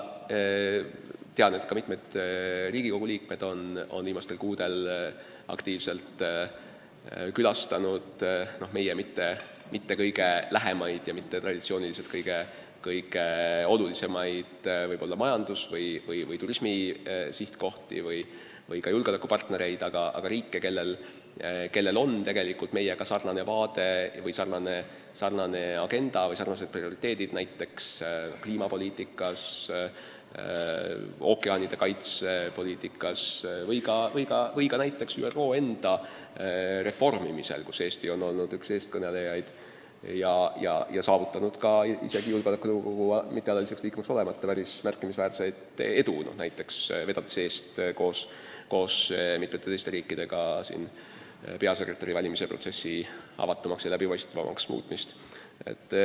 Tean, et ka mitmed Riigikogu liikmed on viimastel kuudel aktiivselt külastanud meile mitte kõige lähemaid ja traditsiooniliselt võib-olla mitte kõige olulisemaid majandus- ja turismisihtkohti ning ka Eesti julgeolekupartneritest maid, samuti riike, kellel on tegelikult meiega sarnased vaated või sarnased prioriteedid näiteks kliimapoliitikas, ookeanide kaitse poliitikas või ka näiteks ÜRO enda reformimisel, kus Eesti on olnud üks eestkõnelejaid ja saavutanud isegi julgeolekunõukogu mittealaliseks liikmeks olemata päris märkimisväärset edu, vedades näiteks koos mitme teise riigiga peasekretäri valimise protsessi avatumaks ja läbipaistvamaks muutmist.